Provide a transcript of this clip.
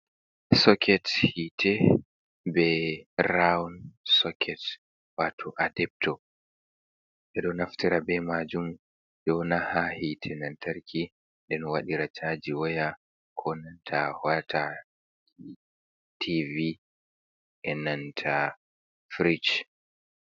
Soket hite, be rowun soket wato adepto, be donaftara bai majun jona ha hite lantarki don waɗira caji waya ko da wata TV ennanta frich.